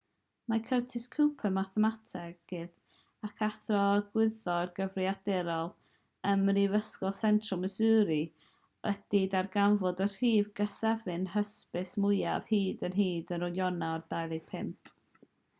mae curtis cooper mathemategydd ac athro gwyddor gyfrifiadurol ym mhrifysgol central missouri wedi darganfod y rhif cysefin hysbys mwyaf hyd yn hyn ar ionawr 25